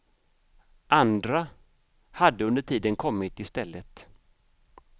Andra hade under tiden kommit i stället.